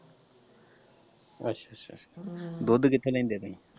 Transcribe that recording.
ਅੱਛਾ ਹਮ ਦੁੱਧ ਕਿੱਥੋਂ ਲਿਆਂਦੇ ਹੋ ਤੁਸੀਂ।